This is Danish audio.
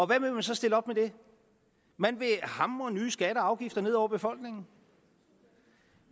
hvad vil man så stille op med det man vil hamre nye skatter og afgifter ned over befolkningen